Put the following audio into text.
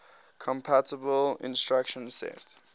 compatible instruction set